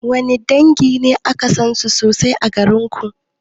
Wanne dangi ne aka sansu sosai a garinku?